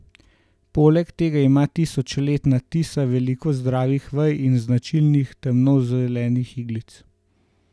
Poleg tega ima tisočletna tisa veliko zdravih vej in značilnih temno zelenih iglic.